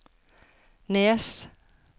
Nes